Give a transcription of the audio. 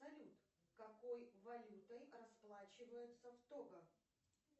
салют какой валютой расплачиваются в того